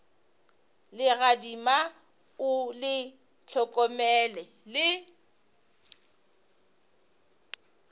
legadima o le hlokomele le